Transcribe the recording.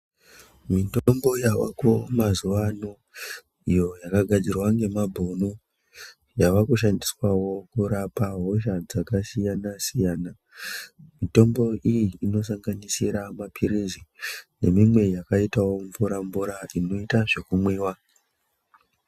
Mitombo yavako mazuwa ano iyo yakagadzirwa ngemabhunu, yaakushandiswawo kurapa hosha dzakasiyana-siyana. Mitombo iyi inosanganisira maphirizi, nemimwe yakaitawo mvura-mvura, inoita zvekumwiwa.